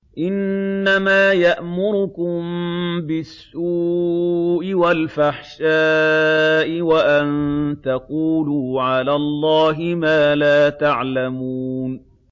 إِنَّمَا يَأْمُرُكُم بِالسُّوءِ وَالْفَحْشَاءِ وَأَن تَقُولُوا عَلَى اللَّهِ مَا لَا تَعْلَمُونَ